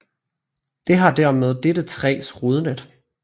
Det har dermed dette træs rodnet